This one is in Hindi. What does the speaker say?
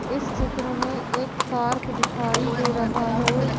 इस चित्र में एक पार्क दिखाई दे रहा है।